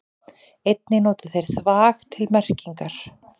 Einnig nota þeir þvag til merkingar.